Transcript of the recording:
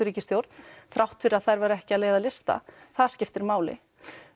ríkisstjórn þrátt fyrir að þær væru ekki að leiða lista það skiptir máli